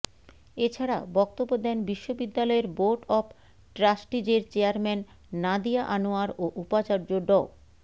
এ ছাড়া বক্তব্য দেন বিশ্ববিদ্যালয়ের বোর্ড অব ট্রাস্টিজের চেয়ারম্যান নাদিয়া আনোয়ার ও উপাচার্য ড